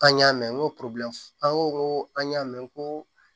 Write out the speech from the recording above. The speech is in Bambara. An y'a mɛn n ko an ko ko an y'a mɛn ko